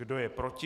Kdo je proti?